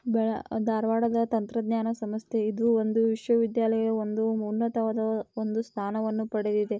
ಬೆಳ-ಅ ಧಾರವಾಡದ ತಂತ್ರಜ್ಞಾನ ಸಂಸ್ಥೆ. ಇದು ಒಂದು ವಿಶ್ವವಿದ್ಯಾಲಯ ಒಂದು ಉನ್ನತವಾದ ಒಂದು ಸ್ಥಾನವನ್ನು ಪಡೆದಿದೆ.